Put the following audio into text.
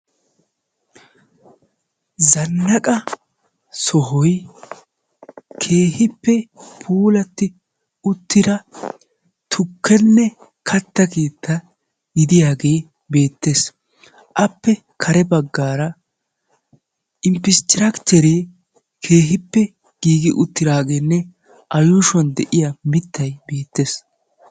zanaqa sohoy keehippe puulatti uttira tukkenne kattaa keetta gidiyaagee beettees, appe kare baggara imppistrakitteree keehippe giigi uttidaagenne mittay a yuushshuwan de'iyaage beettees.